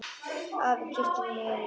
Afi kyssti Lillu góða nótt.